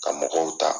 Ka mɔgɔw ta